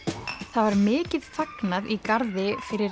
það var mikið fagnað í garði fyrir